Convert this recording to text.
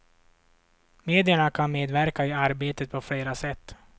Medierna kan medverka i arbetet på flera sätt.